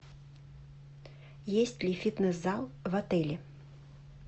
есть ли фитнес зал в отеле